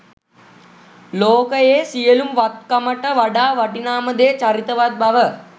ලෝකයේ සියලු වත්කමට වඩා වටිනාම දේ චරිතවත් බව